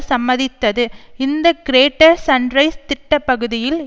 சம்மதித்தது இந்த greater sunrise திட்ட பகுதியில்